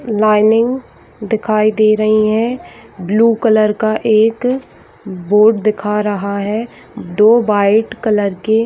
lining दिखाई दे रहीं हैं ब्लू कलर का एक बोर्ड दिखा रहा है दो वाइट कलर के --